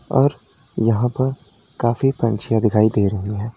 और यहां पर काफी पंछियाँ दिखाई दे रही हैं।